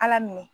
Ala minɛ